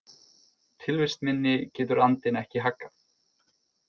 Tilvist minni getur andinn ekki haggað.